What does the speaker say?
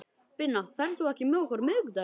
Binna, ferð þú með okkur á miðvikudaginn?